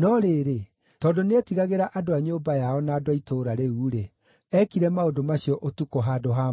No rĩrĩ, tondũ nĩetigagĩra andũ a nyũmba yao na andũ a itũũra rĩu-rĩ, eekire maũndũ macio ũtukũ handũ ha mũthenya.